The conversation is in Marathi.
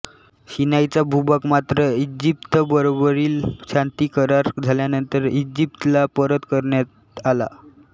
सिनाईचा भूभाग मात्र इजिप्तबरोबरील शांतिकरार झाल्यानंतर इजिप्तला परत करण्यात आला